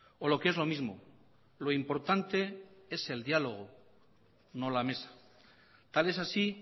o lo que es lo mismo lo importante es el diálogo no la mesa tal es así